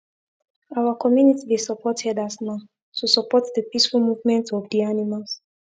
our community dey support herders now to support the peaceful movement of the animals